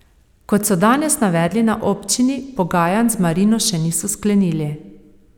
Kot so danes navedli na občini, pogajanj z marino še niso sklenili.